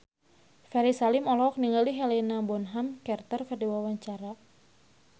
Ferry Salim olohok ningali Helena Bonham Carter keur diwawancara